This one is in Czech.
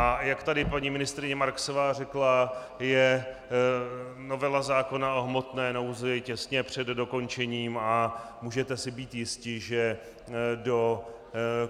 A jak tady paní ministryně Marksová řekla, je novela zákona o hmotné nouzi těsně před dokončením a můžete si být jisti, že do